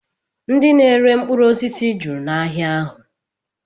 Ndị na-ere mkpụrụosisi juru n'ahịa ahụ